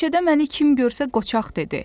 Meşədə məni kim görsə qoçaq dedi.